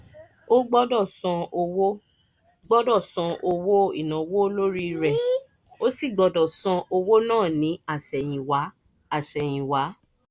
o gbọ́dọ̀ san owó gbọ́dọ̀ san owó ìnáwó lórí rẹ̀ o sì gbọ́dọ̀ san owó náà ní àsẹ̀yìnwá àsẹ̀yìnwá